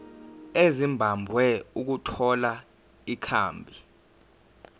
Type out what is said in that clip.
ezimbabwe ukuthola ikhambi